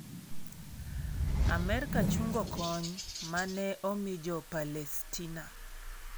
Amerka chungo kony ma ne omi Jo Palestina